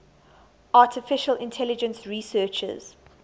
artificial intelligence researchers